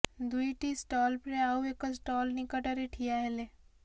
ଦୁଇଟି ଷ୍ଟଲ୍ପରେ ଆଉ ଏକ ଷ୍ଟଲ୍ ନିକଟରେ ଠିଆ ହେଲେ